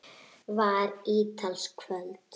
Þetta var ítalskt kvöld.